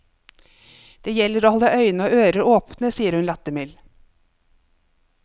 Det gjelder å holde øyne og ører åpne, sier hun lattermild.